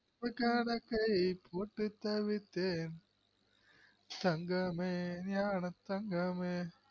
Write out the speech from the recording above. தப்புக்கணக்கை போட்டுத்தவித்தேன் தங்கமே ஞானத்தங்கமே